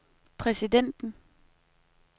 præsidenten